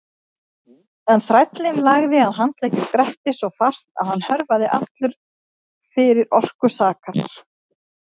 En þrællinn lagði að handleggjum Grettis svo fast að hann hörfaði allur fyrir orku sakar.